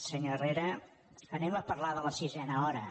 senyor herrera parlem de la sisena hora